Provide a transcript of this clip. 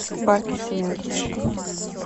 баркисимето